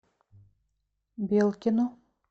белкину